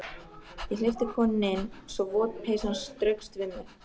Ég hleypti konunni inn svo vot peysan straukst við mig.